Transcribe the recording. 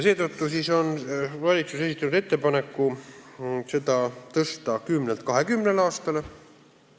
Seetõttu on valitsus esitanud ettepaneku pikendada seda aegumistähtaega 10 aastalt 20 aastani.